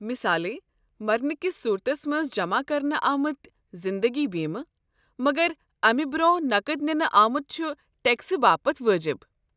مثالے، مرنہٕ کس صورتس منٛز جمع کرنہٕ آمت زِندگی بیمہٕ، مگر امہ برٛونٛہہ نقد ننہٕ آمٗت چھ ٹیكسہٕ باپت وٲجِب۔